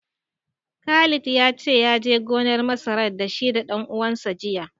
Khalid ya ce, ya je gonar masarar da shi da ɗan uwansa jiya.